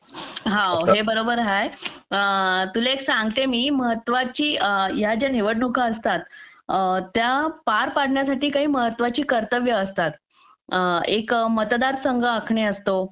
हा आहे बरोबर हाय तुला एक सांगते मी महत्त्वाचं या ज्या निवडणुका असतात त्या पार पाडण्यासाठी काही महत्त्वाची कर्तव्य असतात एक मतदार संघ आखणे असतो